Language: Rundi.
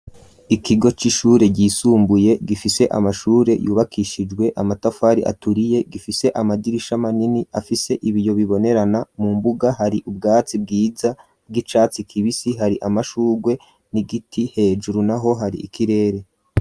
Ikigo c'ishure ryisumbuye, gifise amashure yubakishijwe amatafari aturiye, gifise amadirisha manini afise ibiyo bibonerana, mu mbuga hari ubwatsi bwiza bw'icatsi kibisi, hari amashugwe n'igiti, hejuru naho hari ikirere.